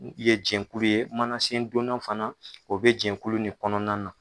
U ye jɛkulu ye manasendonna fana o bɛ jɛkulu nin kɔnɔna na